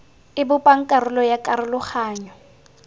e bopang karolo ya karologanyo